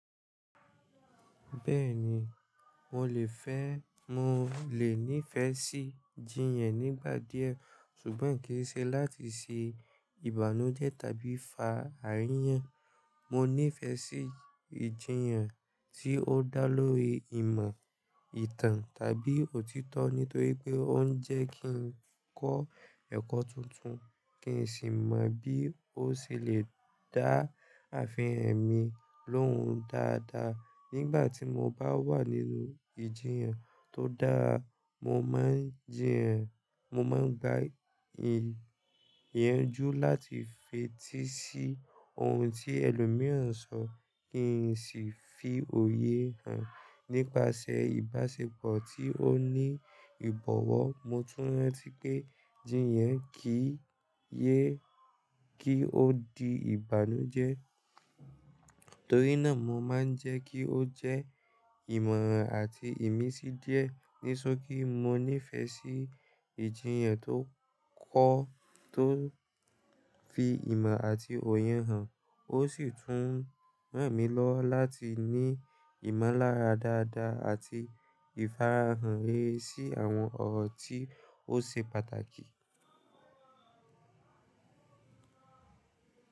Bẹ́ẹ̀ni, mo lè fẹ́, mo lè nífẹ̀ẹ́ sí jíyàn nígbà díẹ̀ ṣùgbọ́n kì í ṣe láti ṣe ìbànújẹ́ tàbí fa àríyàn. Mo nífẹ̀ẹ́ sí ìjiyàn tí ó dá lórí ìmọ̀, ìtàn tàbí òtítọ́ nítorí pé ó ń jẹ́ kí n kọ́ ẹ̀kọ́ tuntun, kí n sì mọ bí ó ṣe lè dá àfihàn mi lóhùn dáadáa. Nígbà tí mo bá wà nínú ìjiyàn tó dára, mo máa ń jíyàn, mo máa ń gba i ìyànjú láti fetí sí ohun tí ẹlòmíràn sọ kí n sì fi òye hàn nípasẹ̀ ìbáṣepọ̀ tí ó ní ìbọ̀wọ́. Mo tún rántí pé jíyàn kì í yé kí ó di ìbànújẹ́, torí náà mo máa ń jẹ́ kí ó jẹ́ ìmọ̀ràn àti ìmísí díẹ̀. Nísokí, mo nífẹ̀ẹ́ sí ìjiyàn tó kọ́, tó fi ìmọ̀ àti òye hàn, ó sì tún ràn mí lọ́wọ láti ní ìmọ̀lára dáadáa àti ìfara hàn rere sí àwọn ọ̀rọ̀ tí ó se pàtàkì.